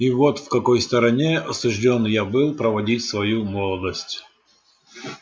и вот в какой стороне осуждён я был проводить свою молодость